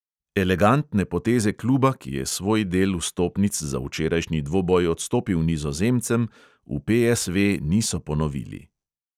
Elegantne poteze kluba, ki je svoj del vstopnic za včerajšnji dvoboj odstopil nizozemcem, v PSV niso ponovili.